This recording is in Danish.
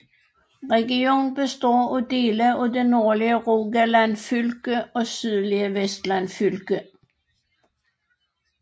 Regionen består af dele af det nordlige Rogaland fylke og sydlige Vestland fylke